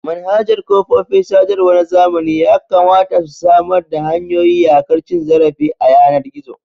Manhajar kafofin sadarwa na zamani yakamata su samar da hanyoyin yaƙar cin zarafi a yanar gizo.